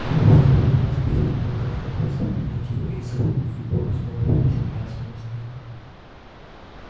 и во второй раз белый клык отказался принять его из рук и бог снова бросил мясо на снег